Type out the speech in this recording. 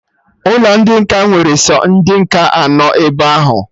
Ụlọ ndị nkà nwere sọ ndị nkà anọ ebe ahụ